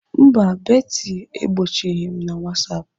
Mba, Betty egbochighị m na Whatsapp.